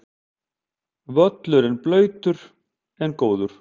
Völlurinn blautur en góður